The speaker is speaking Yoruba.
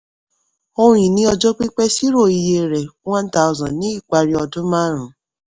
ohun ìní ọjọ́ pípé ṣírò iye rẹ̀ one thousand ní ìparí ọdún márùn-ún.